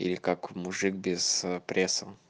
или как мужик без ээ пресса